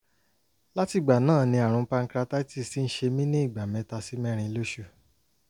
látìgbà náà ni àrùn pancreatitis ti ń ṣe mí ní ìgbà mẹ́ta sí mẹ́rin lóṣù